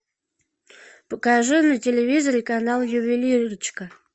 покажи на телевизоре канал ювелирочка